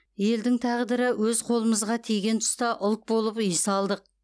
елдің тағдыры өз қолымызға тиген тұста ұлт болып ұйыса алдық